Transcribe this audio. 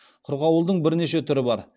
қырғауылдың бірнеше түрі бар